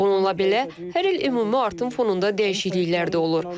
Bununla belə, hər il ümumi artım fonunda dəyişikliklər də olur.